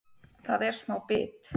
Það er smá bit